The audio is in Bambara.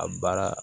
A baara